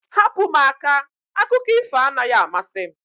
Hapụ m aka! Akụkọ ifo anaghị amasị m